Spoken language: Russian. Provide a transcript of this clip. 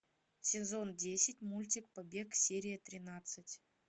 сезон десять мультик побег серия тринадцать